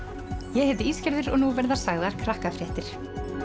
ég heiti Ísgerður og nú verða sagðar Krakkafréttir